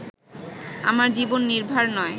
আমার জীবন নির্ভার নয়